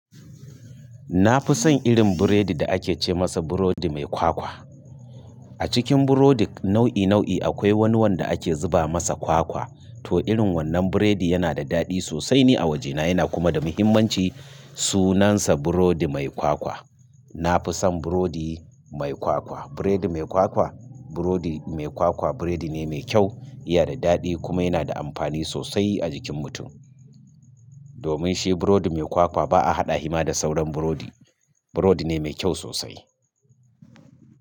Na fi son irin biredin da ake ce masa burodi mai kwakwa. A cikin burodi nau'i nau'i akwai wani wanda ake zuba masa kwakwa. To irin wannan biredi yana da daɗi sosai ni a wajena, yana kuma da muhimmanci sunansa burodi mai kwakwa. Na fi son burodi mai kwakwa. Biredi mai kwakwa, burodi mai kwakwa biredi ne me kyau, iya da daɗi kuma yana da amfani sosai a jikin mutum. Domin shi burodi me kwakwa ba a haɗa hi ma da sauran burodi. Burodi ne mai kyau sosai.